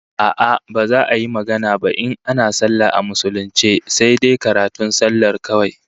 A'a, baza a yi magana ba in ana sallah a musulunce sai dai karatun sallar kawai